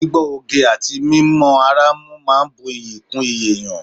Gbígbọ́ oge àti mímọ ara mú máa ń bu iyì kún iyì èèyàn